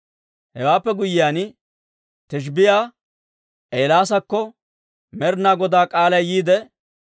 Hewaappe guyyiyaan Tishbbiyaa Eelaasakko Med'inaa Godaa k'aalay yiide,